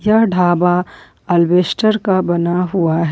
यह ढाबा अल्बेस्टर का बना हुआ है।